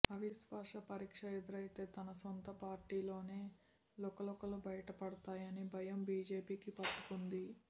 అవిశ్వాస పరీక్ష ఎదురైతే తన సొంత పార్టీలోనే లుకలుకలు బయటపడతాయని భయం బీజేపీకి పట్టుకొంది